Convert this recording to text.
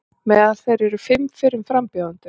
Meðal þeirra eru fimm fyrrum frambjóðendur